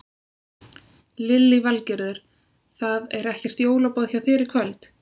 Lillý Valgerður: Það er ekkert jólaboð hjá þér í kvöld?